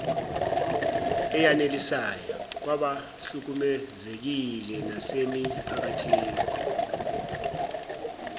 eyanelisayo kwabahlukumezekile nasemiphakathini